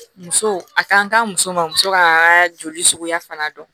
Muso a kan ka muso ma muso ka joli suguya fana dɔn